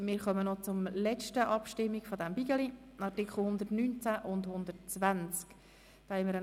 Wir kommen zur letzten Abstimmung dieses Themenblocks, nämlich zu den Artikeln 119 und 120.